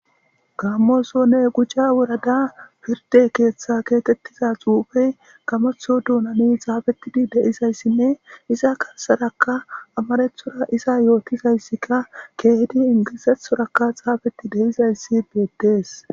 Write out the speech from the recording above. Gaammosone quca woradaa pirdde keeththaa keexeththida tsuufee gamoththo doonani tsaafeththi de7izayssinne iza garssarakka amaaraththora iza yoothizaysikka keehidi ingilzzaththoorakka tsaafeththi de7izayssi beeththees.